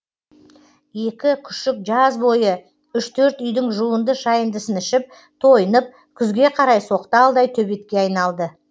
екі күшік жаз бойы үш төрт үйдің жуынды шайындысын ішіп тойынып күзге қарай соқталдай төбетке айналды